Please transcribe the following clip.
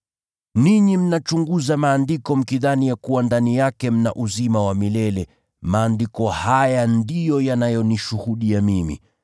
Ninyi mnachunguza Maandiko mkidhani ya kuwa ndani yake mna uzima wa milele, maandiko haya ndiyo yanayonishuhudia Mimi.